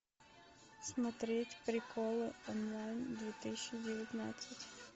смотреть приколы онлайн две тысячи девятнадцать